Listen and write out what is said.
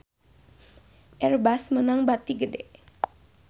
Airbus meunang bati gede